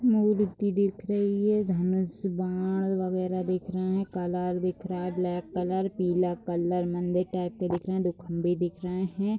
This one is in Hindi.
मऊरुति दिख रही है। धनुष बाण वगैरह दिख रहे हैं। कलर दिख रहा है ब्लैक कलर पीला कलर मंदिर टाइप के दिख रहे हैं। दो खंभे दिख रहे हैं।